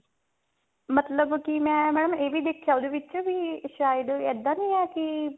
ਮਤਲਬ ਕੀ mam ਮੈਂ ਇਹ ਵੀ ਦੇਖਿਆ ਉਹਦੇ ਵਿੱਚ ਵੀ ਸ਼ਾਇਦ ਇੱਦਾਂ ਨਹੀ ਹੈ ਕੀ